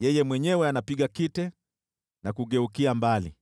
Yeye mwenyewe anapiga kite na kugeukia mbali.